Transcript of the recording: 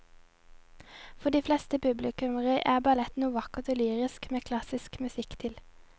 For de fleste publikummere er ballett noe vakkert og lyrisk med klassisk musikk til.